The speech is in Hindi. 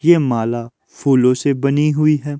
यह माला फूलों से बनी हुई है।